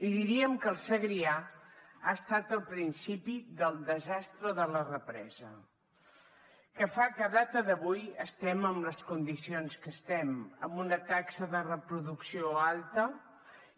i diríem que el segrià ha estat el principi del desastre de la represa que fa que a data d’avui estem en les condicions que estem amb una taxa de reproducció alta